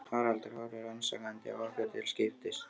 Haraldur horfir rannsakandi á okkur til skiptis.